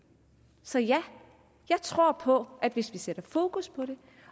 så ja jeg tror på at vi skal sætte fokus på det